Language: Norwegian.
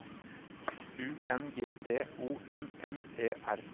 U N G D O M M E R